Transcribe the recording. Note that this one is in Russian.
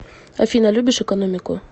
афина любишь экономику